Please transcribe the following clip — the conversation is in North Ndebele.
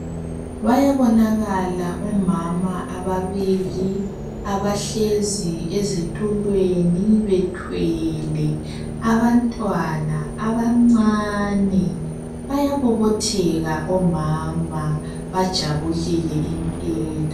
Bayabonakala omama ababili abahlezi ezitulweni bethwele abantwana abancane, bayabobotheka omama, bajabulile impela.